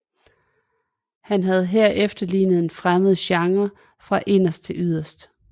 Han havde her efterlignet en fremmed genre fra inderst til yderst